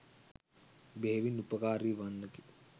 බෙහෙවින් උපකාරී වන්නකි.